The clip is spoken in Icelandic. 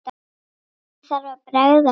Hvernig þarf að bregðast við?